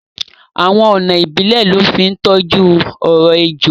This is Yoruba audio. Awọn ọna ìbílẹ̀ lọ fi ntoju ọ̀rọ̀ èjọ.